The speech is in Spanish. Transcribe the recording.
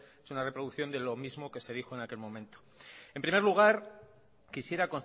es una reproducción de lo mismo que se dijo en aquel momento en primer lugar quisiera